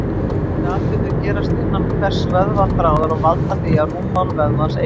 Þessir atburðir gerast innan hvers vöðvaþráðar og valda því að rúmmál vöðvans eykst.